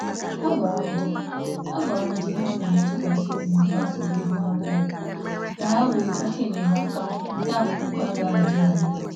Ha gwakwara ndị ha nwere ntụkwasị obi gbasara nsogbu ego, ka ha wee chọta enyemaka na-enweghị